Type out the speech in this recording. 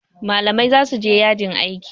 malamai za su je yajin aiki